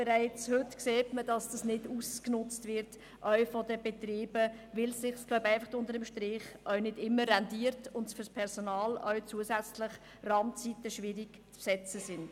Bereits heute sieht man auch seitens der Betriebe, dass diese Möglichkeit nicht ausgenutzt wird, dass es nicht immer rentiert und auch in Bezug auf das Personal die Randzeiten immer schwierig abzudecken sind.